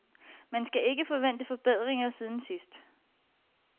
Man skal ikke forvente forbedringer siden sidst.